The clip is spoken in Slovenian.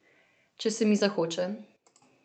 Če se mi zahoče.